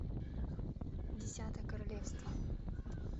десятое королевство